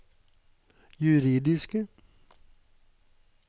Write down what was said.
juridiske